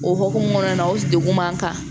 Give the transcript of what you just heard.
O hokumu kɔnɔna na o degun man kan